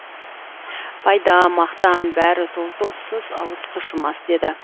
пайда мақтан бәрі тұл доссыз ауыз тұшымас деді